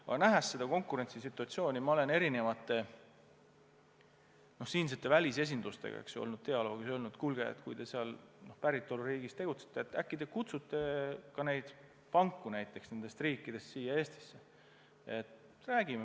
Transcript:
Aga nähes seda konkurentsisituatsiooni, ma olen olnud siinsete välisesindustega dialoogis ja öelnud, et kuulge, kui te oma päritoluriigis tegutsete, äkki te kutsute neid panku nendest riikidest ka siia Eestisse.